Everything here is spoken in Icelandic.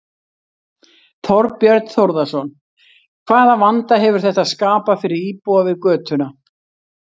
Þorbjörn Þórðarson: Hvaða vanda hefur þetta skapað fyrir íbúa við götuna?